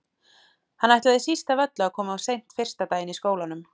Hann ætlaði síst af öllu að koma of seint fyrsta daginn í skólanum.